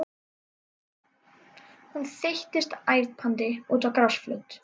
Hún þeyttist æpandi út á grasflöt.